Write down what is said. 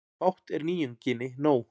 Fátt er nýjunginni nóg.